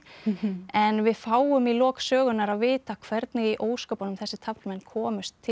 en við fáum í lok sögunnar að vita hvernig í ósköpunum þessir taflmenn komust til